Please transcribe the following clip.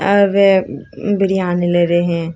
यहां पे बिरयानी ले रहे है।